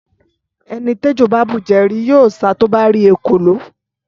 Ẹni t'ẹjọ bà bújẹ̀ ri ,yio sà tọ bà ri ẹkòló